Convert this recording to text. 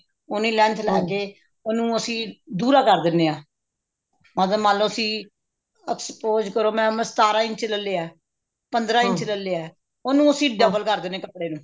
ਉੰਨੀ length ਲੈਕੇ ਉਹਨੂੰ ਅਸੀਂ ਦੁਹਰਾ ਕਰ ਦੇਣੇ ਹਾਂ ਅਗਰ ਮੰਨਲੋ ਅਸੀਂ expose ਕਰੋ ਮੈਂ ਸਤਾਰਾਂ ਇੰਚੀ ਦਾ ਲਿਆ ਪੰਦਰਾਂ ਇੰਚ ਦਾ ਲਿਆ ਉਹਨੂੰ ਅਸੀਂ double ਕਰ ਦੇਣੇ ਹਾਂ ਕੱਪੜੇ ਨੂੰ